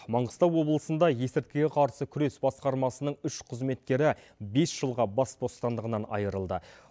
маңғыстау облысында есірткіге қарсы күрес басқармасының үш қызметкері бес жылға бас бостандығынан айырылды